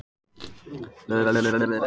Karma, hvaða dagur er í dag?